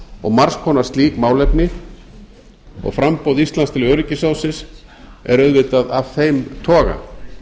og margs konar slík málefni og framboð íslands til öryggisráðsins er auðvitað af þeim toga